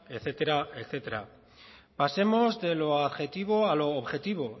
etcétera etcétera pasemos de lo adjetivo a lo objetivo